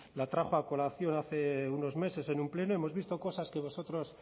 la trajo a colación hace unos meses en un pleno hemos visto cosas que vosotros